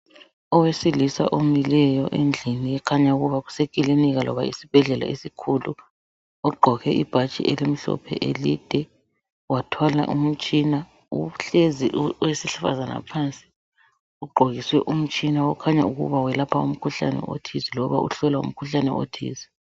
Owesilisa omileyo endlini okukhanya ukuba kusekilinika loba esibhedlela esikhulu ogqoke ibhatshi elimhlophe elide wathwala umtshina uhlezi owesifazana phansi ugqokiswe umtshina okukhanya ukuthi welapha umkhuhlane othize loba uhlola umkhuhlane othize.